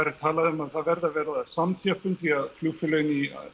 er talaðu um að það verði að verða þar samþjöppun því flugfélögin